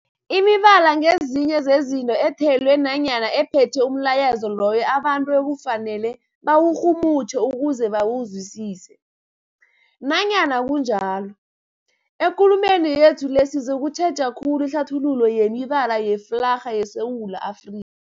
Imibala ngezinye zezinto ethelwe nanyana ephethe umlayezo loyo abantu ekufanele bawurhumutjhe ukuze bawuzwisise. Nanyana kunjalo, ekulumeni yethu le sizokutjheja khulu ihlathululo yemibala yeflarha yeSewula Afri